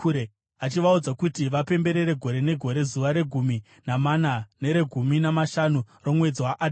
achivaudza kuti vapemberere gore negore zuva regumi namana neregumi namashanu romwedzi waAdhari,